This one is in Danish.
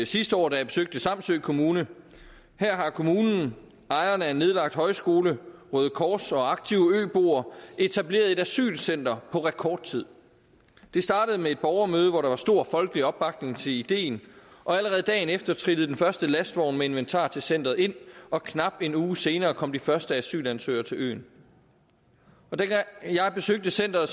sidste år da jeg besøgte samsø kommune her har kommunen ejerne af en nedlagt højskole røde kors og aktive øboere etableret et asylcenter på rekordtid det startede med et borgermøde hvor der var stor folkelig opbakning til ideen og allerede dagen efter trillede den første lastvogn med inventar til centeret ind og knap en uge senere kom de første asylansøgere til øen dengang jeg besøgte centeret